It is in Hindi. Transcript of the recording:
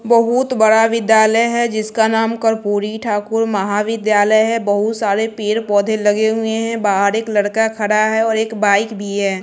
बहुत बड़ा विद्यालय है जिसका नाम कर्पूरी ठाकुर महाविद्यालय है बहुत सारे पेड़ पौधे लगे हुए हैं बाहर एक लड़का खड़ा है और एक बाइक भी है।